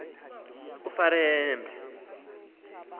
ufarambe